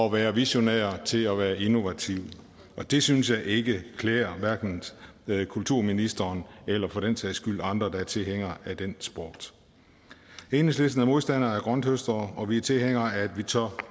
at være visionære til at være innovative og det synes jeg ikke klæder hverken kulturministeren eller for den sags skyld andre der er tilhængere af den sport enhedslisten er modstandere af grønthøstere og vi er tilhængere af at vi tør